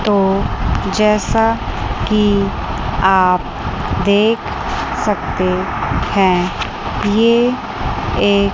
तो जैसा कि आप देख सकते हैं ये एक--